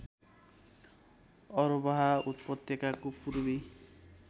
अरबाह उपत्यकाको पूर्वी